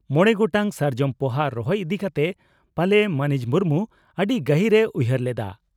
ᱢᱚᱲᱮ ᱜᱚᱴᱟᱝ ᱥᱟᱨᱡᱚᱢ ᱯᱚᱦᱟ ᱨᱚᱦᱚᱭ ᱤᱫᱤ ᱠᱟᱛᱮ ᱯᱟᱞᱮ ᱢᱟᱹᱱᱤᱡ ᱢᱩᱨᱢᱩ ᱟᱹᱰᱤ ᱜᱟᱹᱦᱤᱨ ᱮ ᱩᱭᱦᱟᱹᱨ ᱞᱮᱫᱼᱟ ᱾